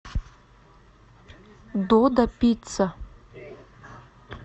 додо пицца